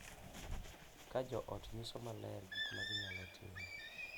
Ka jo ot nyiso maler gik ma ginyalo timo,